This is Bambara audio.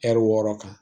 Ɛri wɔɔrɔ kan